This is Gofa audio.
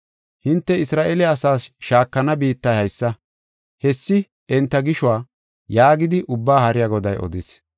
“Hinte Isra7eele asaas shaakana biittay haysa; hessi enta gishuwa” yaagidi Ubbaa Haariya Goday odis.